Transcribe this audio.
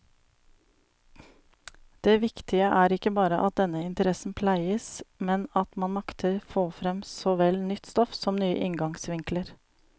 Det viktige er ikke bare at denne interessen pleies, men at man makter få frem såvel nytt stoff som nye inngangsvinkler.